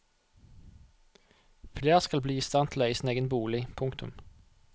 Flere skal bli i stand til å eie sin egen bolig. punktum